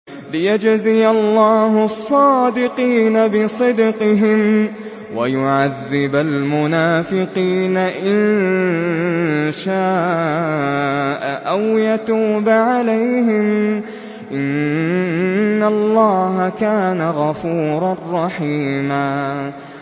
لِّيَجْزِيَ اللَّهُ الصَّادِقِينَ بِصِدْقِهِمْ وَيُعَذِّبَ الْمُنَافِقِينَ إِن شَاءَ أَوْ يَتُوبَ عَلَيْهِمْ ۚ إِنَّ اللَّهَ كَانَ غَفُورًا رَّحِيمًا